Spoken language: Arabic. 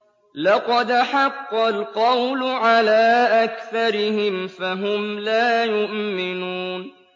لَقَدْ حَقَّ الْقَوْلُ عَلَىٰ أَكْثَرِهِمْ فَهُمْ لَا يُؤْمِنُونَ